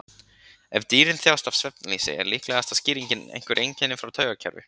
Ef dýrin þjást af svefnleysi er líklegasta skýringin einhver einkenni frá taugakerfi.